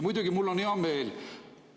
Muidugi on mul hea meel.